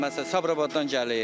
Məsələn, Sabirabaddan gəlir.